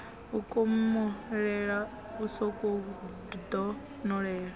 u komolela u sokou donolela